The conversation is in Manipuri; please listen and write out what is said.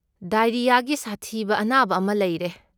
ꯗꯥꯏꯔꯤꯌꯥꯒꯤ ꯁꯥꯊꯤꯕ ꯑꯅꯥꯕ ꯑꯃ ꯂꯩꯔꯦ꯫